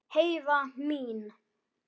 Heiða mín.